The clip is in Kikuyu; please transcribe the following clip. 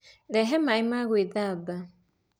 Rehe maaĩ ma gwĩthamba.